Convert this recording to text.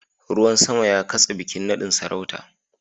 Ruwan sama ya katse bikin nadin sarauta